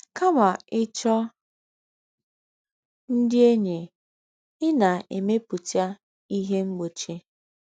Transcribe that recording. Kàmá íchọ́ ndị̀ ényí, í na-èmèpùtà íhè mgbòchì.